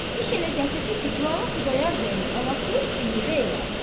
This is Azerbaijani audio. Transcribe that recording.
İş elə gətirdi ki, Qlava Xudayar bəyin anasını siğə elədi.